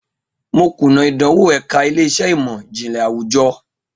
Mo kuna idanwo ẹka ile-iṣẹ imọ-jinlẹ awujọ.